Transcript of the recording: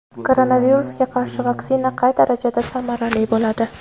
Koronavirusga qarshi vaksina qay darajada samarali bo‘ladi?.